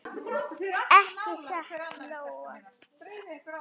Ekki satt Lóa?